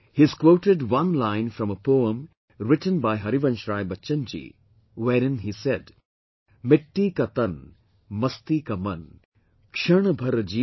He has quoted one line from a poem written by Harivansh Rai Bachchan Ji wherein he said "Mitti Ka Tann, Masti Ka Mann, Kshan Bhar Jeewan, Mera Parichay